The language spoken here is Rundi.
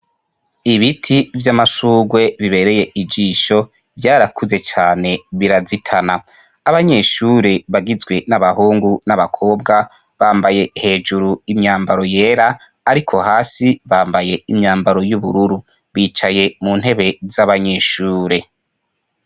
Ibiti vy'amashurwe bibereye ijisho vyarakuze cane birazitana. Abanyeshure bagizwe n'abahungu n'abakobwa bambaye hejuru imyambaro yera ariko hasi bambaye imyambaro y'ubururu bicaye muntebe z'abanyeshure.